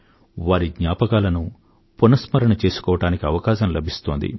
వారి జ్ఞాపకాలను పునస్మరణ చేసుకోవడానికి అవకాశం లబిస్తోంది